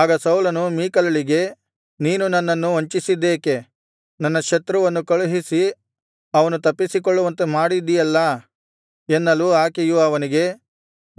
ಆಗ ಸೌಲನು ಮೀಕಲಳಿಗೆ ನೀನು ನನ್ನನ್ನು ವಂಚಿಸಿದ್ದೇಕೆ ನನ್ನ ಶತ್ರುವನ್ನು ಕಳುಹಿಸಿ ಅವನು ತಪ್ಪಿಸಿಕೊಳ್ಳುವಂತೆ ಮಾಡಿದಿಯಲ್ಲಾ ಎನ್ನಲು ಆಕೆಯು ಅವನಿಗೆ